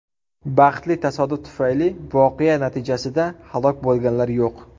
Baxtli tasodif tufayli, voqea natijasida halok bo‘lganlar yo‘q.